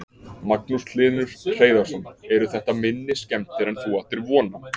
Magnús Hlynur Hreiðarsson: Eru þetta minni skemmdir en þú áttir von á?